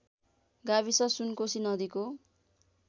गाविस सुनकोशी नदीको